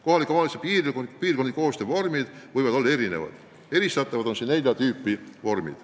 Kohalike omavalitsuste piirkondliku koostöö vormid võivad olla erinevad, neid eristatakse nelja tüüpi.